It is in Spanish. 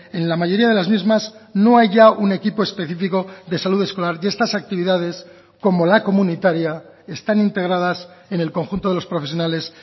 en la mayoría de las mismas no hay ya un equipo específico de salud escolar y estas actividades como la comunitaria están integradas en el conjunto de los profesionales